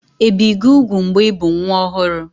Ebì gị úgwù mgbe ị bụ nwa ọhụrụ?